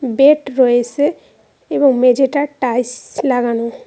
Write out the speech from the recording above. Bed রয়েসে এবং মেঝেটা টাইস লাগানো।